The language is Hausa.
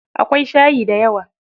Akwai shayi dayawa.